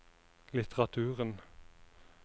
litteraturen